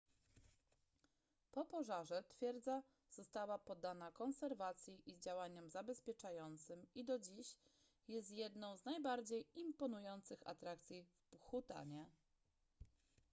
po pożarze twierdza została poddana konserwacji i działaniom zabezpieczającym i do dziś jest jedną z najbardziej imponujących atrakcji w bhutanie